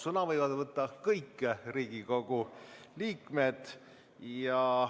Sõna võivad võtta kõik Riigikogu liikmed.